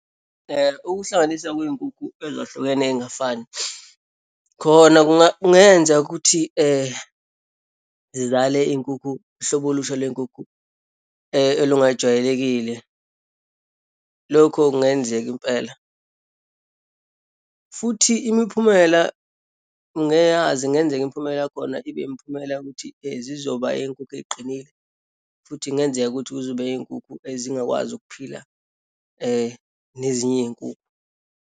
Ukuhlanganisa kweyinkukhu ezahlukene eyingafani khona kungenza ukuthi zizale iyinkukhu, uhlobo olusha lweyinkukhu elungajwayelekile. Lokho kungenzeka impela, futhi imiphumela ungeyazi kungenzeka imiphumela yakhona ibe imiphumela yokuthi zizoba eyeyinkukhu eyiqinile futhi kungenzeka ukuthi kuzoba iyinkukhu ezingakwazi ukuphila nezinye iyinkukhu.